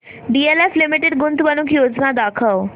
DLF limited गुंतवणूक योजना दाखव